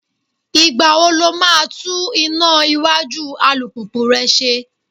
Ìgbà wo lo máa tún iná iwájú alùpùpù rẹ ṣe?